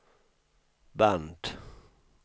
band